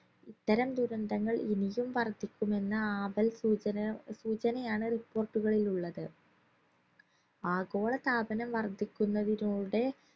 ഇത്തരം ദുരന്തങ്ങൾ ഇനിയും വർദ്ധിക്കുമെന്ന് ആപൽ സൂചന സൂചനയാണ് report കളിൽ ഉള്ളത് ആഗോളതാപനം വർധിക്കുന്നതിനൂടെ